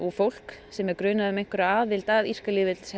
fólk sem er grunað um einhverja aðild að írska